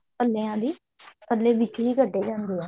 ਪੱਲਿਆਂ ਦੀ ਪੱਲੇ ਵਿੱਚੋਂ ਹੀ ਕੱਢੇ ਜਾਂਦੇ ਆ